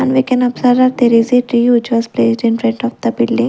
And we can observe that there is a tree which was placed in front of the building.